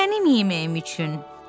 Mənim yeməyim üçün!